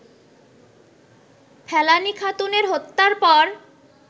ফেলানি খাতুনের হত্যার পর